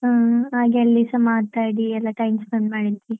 ಹ್ಮ್ ಹಾಗೆ ಅಲ್ಲಿಸ ಮಾತಾಡಿ ಎಲ್ಲ time spend ಮಾಡಿದ್ವಿ.